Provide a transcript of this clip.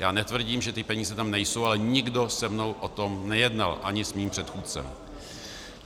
Já netvrdím, že ty peníze tam nejsou, ale nikdo se mnou o tom nejednal, ani s mým předchůdcem.